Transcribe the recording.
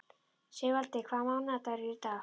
Sigvaldi, hvaða mánaðardagur er í dag?